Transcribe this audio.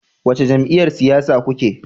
Wace jam'iyyar siyasa kuke?